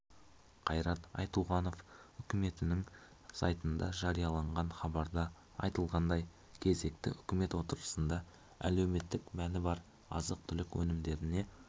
қайрат айтуғанов үкіметінің сайтында жарияланған хабарда айтылғандай кезекті үкімет отырысында әлеуметтік мәні бар азық-түлік өнімдеріне